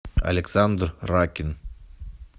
александр ракин